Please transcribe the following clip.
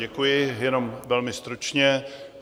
Děkuji, jenom velmi stručně.